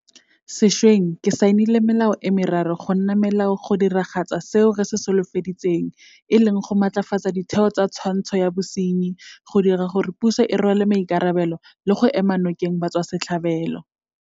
Sešweng ke saenile melao e meraro go nna melao go diragatsa seo re se solofeditseng e leng go matlafatsa ditheo tsa twantsho ya bosenyi, go dira gore puso e rwale maikarabelo le go ema nokeng batswasetlhabelo.